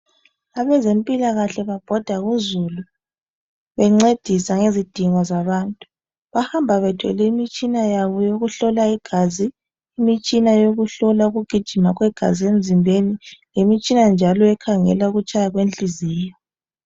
Abezempilakahle babhoda kuzulu bencedisa ngezidingo zabantu . Bahamba bethwele imitshina yabo yokuhlola igazi, imitshina yokuhlola ukugijima kwegazi emzimbeni. Lemitshina njalo ekhangela ukutshaya kwenhliziyo.